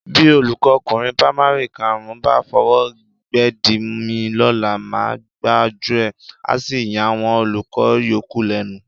Bí olùkọ́kùnrin pamari karùn-ún bá fọwọ́ gbédìí mi lọ́la, màá gbájú ẹ̀, a sì yàwọn olùkọ́ yòókù lẹ́nu.